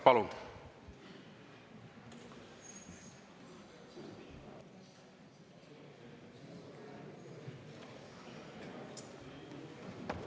Palun!